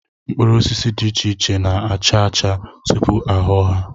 Mkpụrụosisi dị iche iche na-acha acha tupu a ghọọ ha